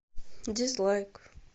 дизлайк